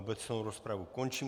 Obecnou rozpravu končím.